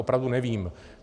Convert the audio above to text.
Opravdu nevím.